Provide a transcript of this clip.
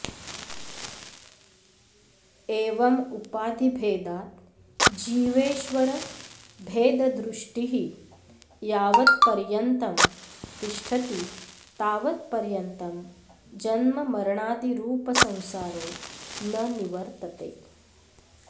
एवं उपाधिभेदात् जीवेश्वरभेददृष्टिः यावत्पर्यन्तं तिष्ठति तावत्पर्यन्तं जन्ममरणादिरूपसंसारो न निवर्तते